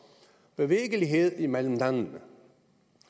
bevægelighed imellem landene